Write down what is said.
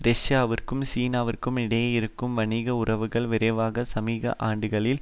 ரஷ்யாவிற்கும் சீனாவிற்கும் இடையே இருக்கும் வணிக உறவுகள் விரைவாக சமீப ஆண்டுகளில்